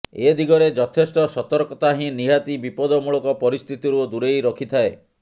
ଏ ଦିଗରେ ଯଥେଷ୍ଟ ସତର୍କତା ହିଁ ନିହାତି ବିପଦମୂଳକ ପରିସ୍ଥିତିରୁ ଦୂରେଇ ରଖିଥାଏ